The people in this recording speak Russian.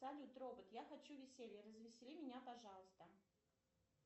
салют робот я хочу веселья развесели меня пожалуйста